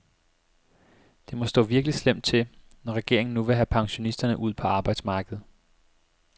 Det må stå virkelig slemt til, når regeringen nu vil have pensionisterne ud på arbejdsmarkedet.